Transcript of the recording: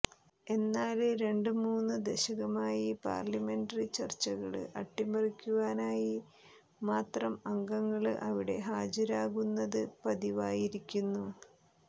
എന്നാല് രണ്ട് മൂന്ന് ദശകമായി പാര്ലമെന്ററി ചര്ച്ചകള് അട്ടിമറിക്കുവാനായി മാത്രം അംഗങ്ങള് അവിടെ ഹാജരാകുന്നത് പതിവായിരിക്കുന്നു